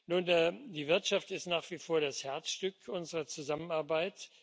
Nun, die Wirtschaft ist nach wie vor das Herzstück unserer Zusammenarbeit.